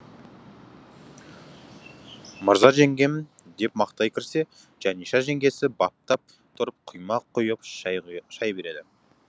мырза жеңгем деп мақтай кірсе жаниша жеңгесі баптап тұрып құймақ құйып шай шай береді